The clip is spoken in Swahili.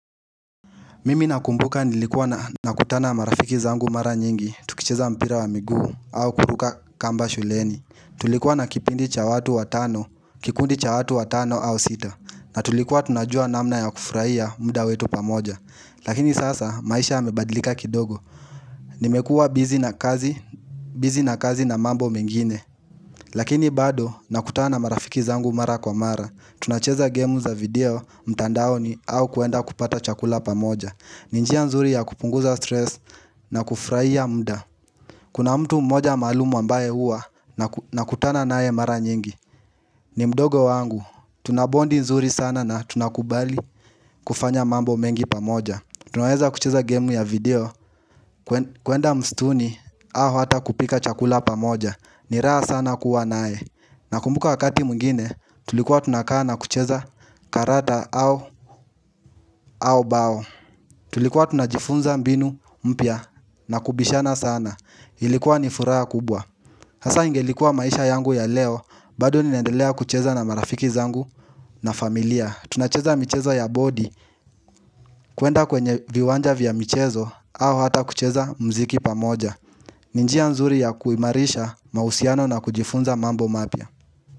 Mimi nakumbuka nilikuwa nakutana na marafiki zangu mara nyingi tukicheza mpira wa miguu au kuruka kamba shuleni Tulikuwa na kipindi cha watu watano, kikundi cha watu watano au sita na tulikuwa tunajua namna ya kufurahia muda wetu pamoja Lakini sasa maisha yamebadilika kidogo Nimekuwa busy na kazi na mambo mengine Lakini bado nakutana na marafiki zangu mara kwa mara tunacheza game za video mtandaoni au kuenda kupata chakula pamoja ni njia nzuri ya kupunguza stress na kufurahia muda Kuna mtu mmoja maalum ambaye hua nakutana naye mara nyingi ni mdogo wangu, tuna bond nzuri sana na tunakubali kufanya mambo mengi pamoja Tunaweza kucheza gemu ya video kuenda msituni au hata kupika chakula pamoja ni raha sana kuwa nae Nakumbuka wakati mwingine tulikuwa tunakaa na kucheza karata au au bao Tulikuwa tunajifunza mbinu mpya na kubishana sana, ilikuwa nifuraha kubwa sasa ingelikuwa maisha yangu ya leo, bado ninaendelea kucheza na marafiki zangu na familia tunacheza michezo ya body kuenda kwenye viwanja vya mchezo au hata kucheza muziki pamoja ni njia nzuri ya kuimarisha mahusiano na kujifunza mambo mapya.